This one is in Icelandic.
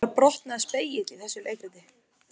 Þar brotnaði spegill í þessu leikriti